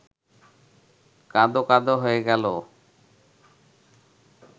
কাঁদো-কাঁদো হয়ে গেল